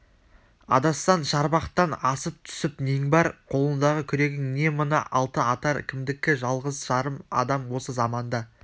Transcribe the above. адассаң шарбақтан асып түсіп нең бар қолындағы күрегің не мына алтыатар кімдікі жалғыз-жарым адам осы заманда